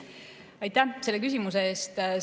Aitäh selle küsimuse eest!